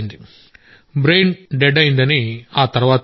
brain death అయిందని ఆ తర్వాత తెలిసింది